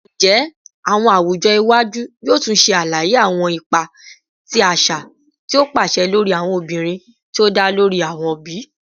Njẹ awọn awujọ iwaju yoo tun ṣe alaye awọn ipa ti aṣa ti o paṣẹ lori awọn obinrin ti o da lori awọ bi?